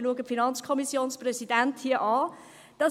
» Ich schaue den FiKoPräsidenten an: